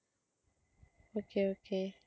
okay okay